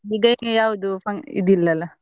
ಯಾವ್ದು ಇದಿಲ್ಲಾ ಅಲ್ಲಾ?